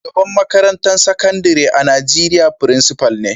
Shugaban makarantan sakandare a'Nijeriya frincipa ne.